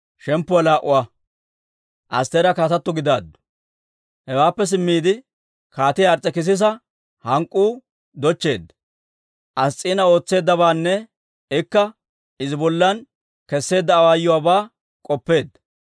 Hewaappe simmiide, Kaatiyaa Ars's'ekisisa hank'k'uu dochcheedda; Ass's'iina ootseeddabaanne ikka Izi bollan kesseedda awaayuwaabaa k'oppeedda.